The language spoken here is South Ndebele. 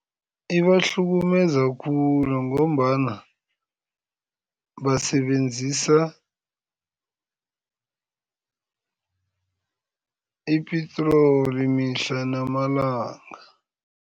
Ibahlukumeza khulu ngombana basebenzisa ipitroli mihla namalanga.